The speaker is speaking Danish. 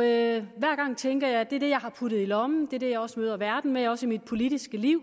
jeg tænkt at det er det jeg har puttet i lommen det er det jeg også møder verden med også i mit politiske liv